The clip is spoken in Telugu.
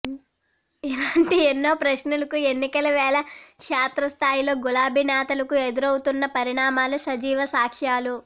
ఇలాంటి ఎన్నో ప్రశ్నలకు ఎన్నికల వేళ క్షేత్రస్థాయిలో గులాబీ నేతలకు ఎదురవుతున్న పరిణామాలే సజీవ సాక్ష్యాలు